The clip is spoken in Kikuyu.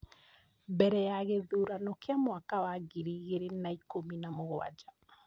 Mbere ya gĩthurano kĩa mwaka wa ngiri igĩrĩ na ikũmi nĩ mũgwanja ,